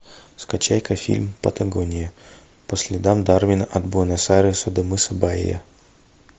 скачай ка фильм патагония по следам дарвина от буэнос айреса до мыса бая